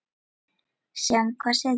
Sjáum hvað setur.